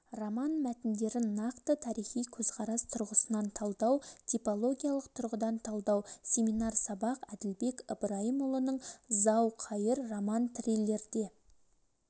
роман мәтіндерін нақты тарихи көзқарас тұрғысынан талдау типологиялық тұрғыдан талдау семинар сабақ әділбек ыбырайымұлының зау-қайыр роман-триллерде